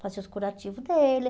Fazia os curativos dele.